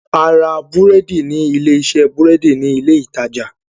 A ra búrẹ́dì ní ilé iṣẹ́ búrẹ́dì ní ilé ìtajà